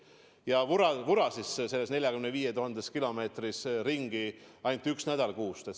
Ja vura siis selles 45 000 ruutkilomeetris ringi ainult ühel nädalal kuus.